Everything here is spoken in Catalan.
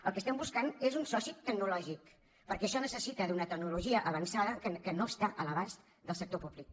el que estem buscant és un soci tecnològic perquè això necessita una tecnologia avançada que no està a l’abast del sector públic